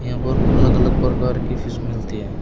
यहां पर अलग अलग प्रकार की फीस मिलती है।